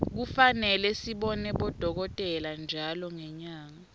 kufane sibone bodokotela ntjalo ngenyanga